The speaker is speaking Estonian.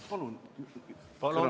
Palun lisaaega!